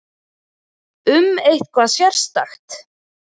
Um eitthvað sérstakt?